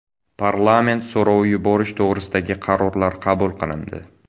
Parlament so‘rovi yuborish to‘g‘risidagi qarorlar qabul qilindi.